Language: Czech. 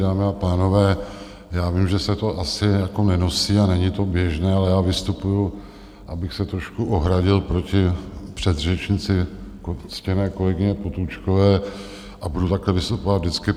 Dámy a pánové, já vím, že se to asi jako nenosí a není to běžné, ale já vystupuji, abych se trošku ohradil proti předřečnici, ctěné kolegyně Potůčkové, a budu takhle vystupovat vždycky.